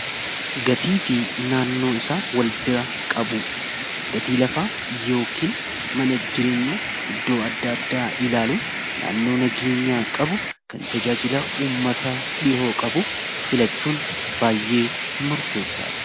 Gatii fi naannoo isaa wal bira qabu gatii lafaa yookiin mana jireenya iddoo adda addaa ilaaluun naannoo nageenyaa qabu kan tajaajila ummataa dhihoo qabu filachuun baay'ee murteessadha.